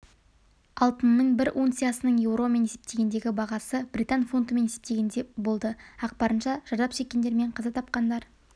алтынның бір унциясының еуромен есептегендегі бағасы британ фунтымен есептегенде болды ақпарынша зардап шеккендер мен қаза тапқанар